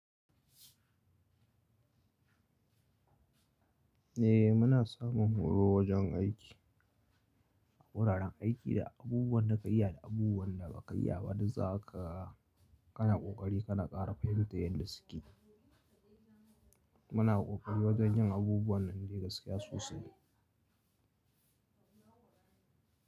Eh muna samun horo wajen aiki, a wuraren aiki da abubuwan da ka iya da abubuwan da ba ka iya ba, duk za ka, ka na ƙoƙari ka na ƙara fahimta yadda suke. Muna ƙoƙari wajen yin abubuwan nan dai gaskiya sosai.